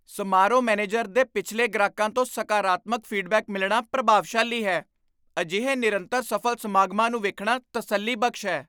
ਸਮਾਰੋਹ ਮੈਨੇਜਰ ਦੇ ਪਿਛਲੇ ਗ੍ਰਾਹਕਾਂ ਤੋਂ ਸਕਾਰਾਤਮਕ ਫੀਡਬੈਕ ਮਿਲਣਾ ਪ੍ਰਭਾਵਸ਼ਾਲੀ ਹੈ। ਅਜਿਹੇ ਨਿਰੰਤਰ ਸਫ਼ਲ ਸਮਾਗਮਾਂ ਨੂੰ ਵੇਖਣਾ ਤਸੱਲੀਬਖਸ਼ ਹੈ।